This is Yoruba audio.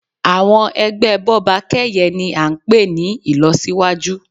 Àwọn ẹgbẹ́ Bọ́bakẹ́yẹ̀ ni a ń pè ní ìlọsíwájú.